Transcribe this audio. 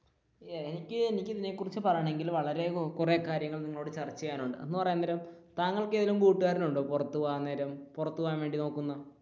എനിക്ക് ഇതിനെ കുറിച്ച് പറയണമെങ്കിൽ വളരെ കുറെ കാര്യങ്ങൾ നിങ്ങളോട് ചർച്ച ചെയ്യാനുണ്ട് അന്ന് പറയാൻ നേരം താങ്കൾക്ക് ഏതേലും കൂട്ടുകാരനുണ്ടോ പുറത്തുപോകാൻ നേരം പുറത്തുപോകാൻ വേണ്ടി നോക്കുന്ന,